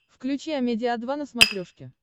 включи амедиа два на смотрешке